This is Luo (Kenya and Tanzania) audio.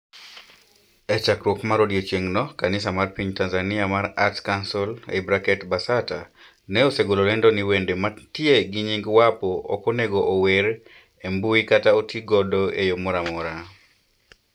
E chakruok mar odiechieng'no, kanisa mar piny Tanzania mar Arts Council (Basata), ne osegolo lendo ni wende mantie gi nying Wapo ok onego ower e mbui kata otigodo e yo moro amora.